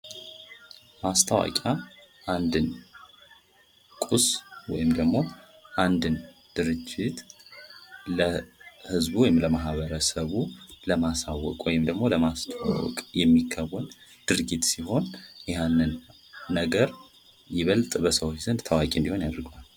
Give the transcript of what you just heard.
ማስታወቂያ አንድን ቁስ ወይም ደግሞ አንድን ድርጅት ለህዝቡ ወይም ደግሞ ለማህበረሰቡ ለማሳወቅ ወይም ለማስተዋወቅ የሚከወን ድርጊት ሲሆን ያንን ነገር ለህዝቡ ይበልጥ ታዋቂ እንዲሆን ያደርገዋል።